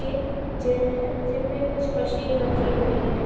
एक जिम है जिम में कुछ मशीन रखी हुई है।